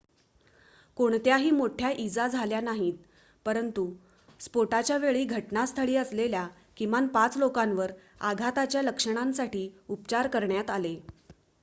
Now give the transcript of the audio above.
कोणत्याही मोठ्या इजा झाल्या नाहीत परंतु स्फोटाच्या वेळी घटनास्थळी असलेल्या किमान 5 लोकांवर आघाताच्या लक्षणांसाठी उपचार करण्यात आले